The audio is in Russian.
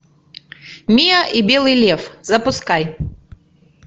миа и белый лев запускай